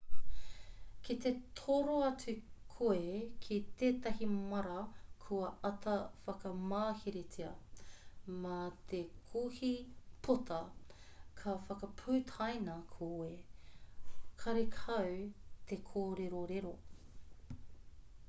ki te toro atu koe ki tētahi māra kua āta whakamaheretia mā te kohi pota ka whakaputaina koe karekau te kōrerorero